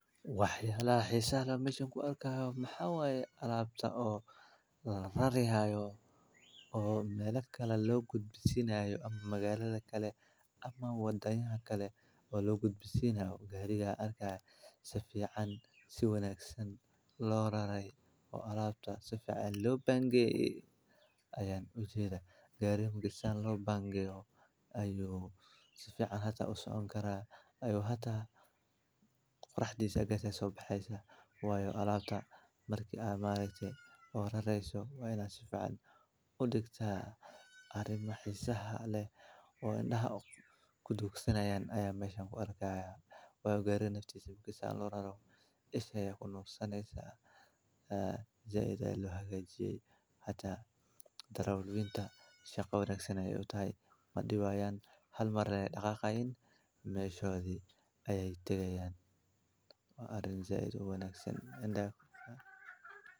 Waxyaallaha xiisaha la mashan ku arka ah maxaawaye alaabta oo la rarihaayo oo meel akkale loogu gudbisinaayo ama magaalada kale ama waddanya kale oo loogu gudbisnao. Gariga ahi arka ah Safi can si wanaagsan loo raray oo alaabta Sifican u le bangeeyay ayaan u jeeda. Gaarig muga saan loo bangeyo? Ayuu Sifican hata u socon karaan, Ayuu hata kharashdiisa gartay soo baxaysa? Waayo alaabta markii ay maalaystay oo rarayso waynaha Safi caan u dig taa. Ari maxaasaha leh oo indhaha ku dugsanayaan ayaa mashan ku arka ah. Way gaadhay naftii si buugisaan loo raro isagay ayyuu kunuu sanaysaa. Jaecay le hagajiyay hata darawalkii ta shaqo ragsaney utay madhibaan hal mar ray dhakhak ayn may shooday. Ayeey tegayaan. Waa arrin jaecad u wanaagsan indhaha.